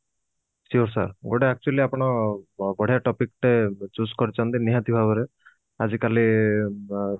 sur sir ଗୋଟେ actually ଆପଣ ବଢିଆ topic ଟେ choose କରିଛନ୍ତି ନିହାତି ଭାବରେ ଆଜି କାଲି ବ